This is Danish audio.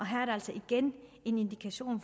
her er der altså igen en indikation